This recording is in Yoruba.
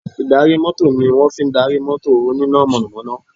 Ì̀darí mọ́tò ni wọ́n fi darí mọ́tò oníná mọ̀nàmọ́ná